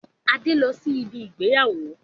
Adé n lọ sí ibi ìgbéyàwó